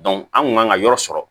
an kun kan ka yɔrɔ sɔrɔ